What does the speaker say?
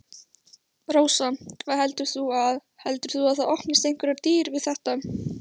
Rósa: Hvað heldur þú að. heldur þú að það opnist einhverjar dyr við þetta?